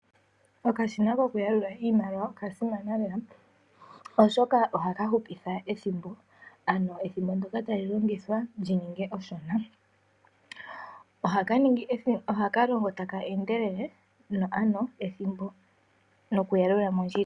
Okashina koku yalula iimaliwa oka simana lela ,oshoka ohaka hupitha ethimbo ano ethimbo ndyoka tali longithwa lyi ninge eshona. Ohaka longo taka endelele noku yalula mondjila.